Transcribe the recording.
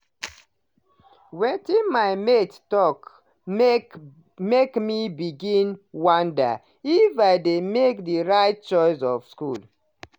wetin my mates talk make me begin wonder if i dey make the right choice for school.